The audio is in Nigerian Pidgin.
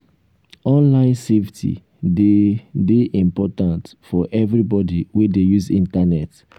online safety dey dey important for everybody wey dey use internet.